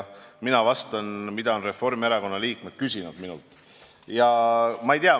Mina vastan sellele, mida on Reformierakonna liikmed minult küsinud.